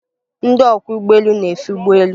Ndị ọkwọ ụgbọelu na-efe ụgbọelu